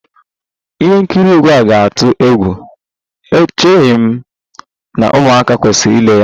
Ihe nkiri egwu ga-atụ egwu, echeghị m na ụmụaka kwesịrị ile ya